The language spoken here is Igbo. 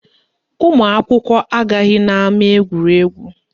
Ụmụakwụkwọ agaghị n'ama egwuregwu